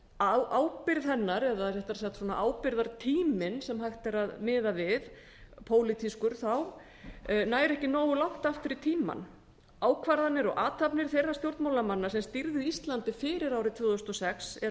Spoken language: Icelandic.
að ábyrgð hennar eða réttara sagt ábyrgðartíminn sem hægt er að miða við pólitískur nær ekki nógu langt aftur í tímann ákvarðanir og athafnir þeirra stjórnmálamanna sem stýrðu íslandi fyrir nítján hundruð áttatíu og sex eru